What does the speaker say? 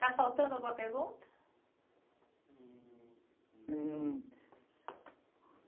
Está faltando alguma pergunta? Hum